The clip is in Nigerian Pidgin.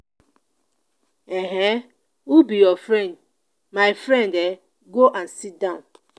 um who be your friend? my friend um go and sit down